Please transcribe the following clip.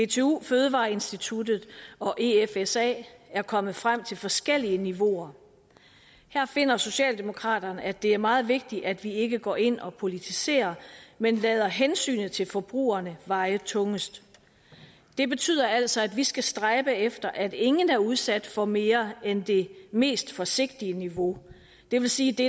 dtu fødevareinstituttet og efsa er kommet frem til forskellige niveauer her finder socialdemokraterne at det er meget vigtigt at vi ikke går ind og politiserer men lader hensynet til forbrugerne veje tungest det betyder altså at vi skal stræbe efter at ingen er udsat for mere end det mest forsigtige niveau det vil sige det